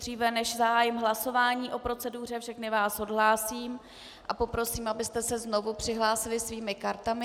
Dříve než zahájím hlasování o proceduře, všechny vás odhlásím a poprosím, abyste se znovu přihlásili svými kartami.